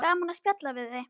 Gaman að spjalla við þig.